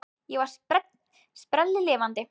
Ég var sprelllifandi.